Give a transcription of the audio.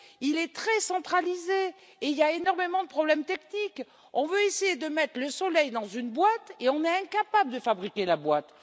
Il est très centralisé et il y a énormément de problèmes techniques. On veut essayer de mettre le soleil dans une boîte et on est incapable de fabriquer la boîte.